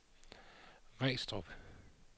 Regstrup